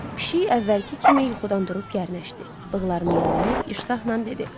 Pişik əvvəlki kimi yuxudan durub gərnəşdi, bığlarını yalıyıb iştahla dedi.